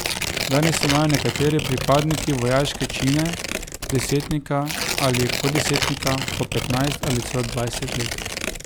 Danes imajo nekateri pripadniki vojaške čine desetnika ali poddesetnika po petnajst ali celo dvajset let.